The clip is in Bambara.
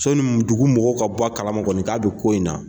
So ni dugu mɔgɔw ka bɔ a kala kɔni k'a bɛ ko in na.